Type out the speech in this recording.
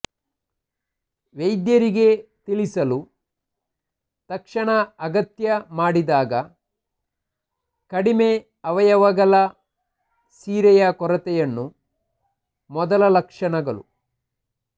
ವೈದ್ಯರಿಗೆ ತಿಳಿಸಲು ತಕ್ಷಣ ಅಗತ್ಯ ಮಾಡಿದಾಗ ಕಡಿಮೆ ಅವಯವಗಳ ಸಿರೆಯ ಕೊರತೆಯನ್ನು ಮೊದಲ ಲಕ್ಷಣಗಳು